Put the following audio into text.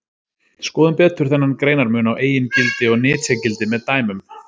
Skoðum betur þennan greinarmun á eigingildi og nytjagildi með dæmum.